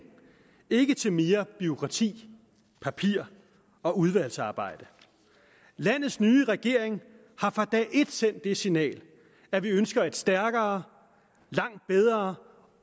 ikke til mere bureaukrati papirer og udvalgsarbejde landets nye regering har fra dag et sendt det signal at vi ønsker et stærkere langt bedre